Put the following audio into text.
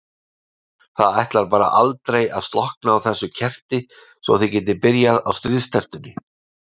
Það ætlar bara aldrei að slokkna á þessu kerti svo þið getið byrjað á stríðstertunni.